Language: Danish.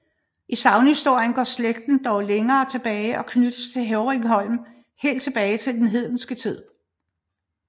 I sagnhistorien går slægten dog længere tilbage og knyttes til Hevringholm helt tilbage til den hedenske tid